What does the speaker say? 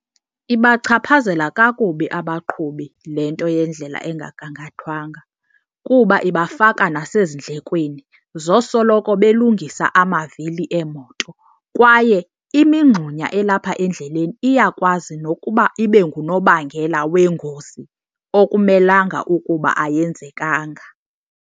Ibachaphazela kakubi abaqhubi le nto yendlela engagangathwanga kuba ibafaka nasezindlekweni zosoloko belungisa amavili eemoto, kwaye imingxunya elapha endleleni iyakwazi nokuba ibe ngunobangela weengozi okumelanga ukuba ayenzekanga.